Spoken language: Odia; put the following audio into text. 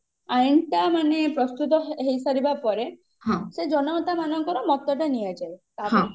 ଆଇନ ଟା ମାନେ ପ୍ରସ୍ତୁତ ହେଇସାରିବା ପରେ ସେ ଜନତା ମାନଙ୍କର ମତ ଟା ନିଆଯାଏ